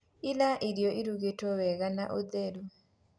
rĩa irio irugitwo wega na ũtheru